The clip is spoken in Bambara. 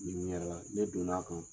Ɲininkali wa ne donna' a kan.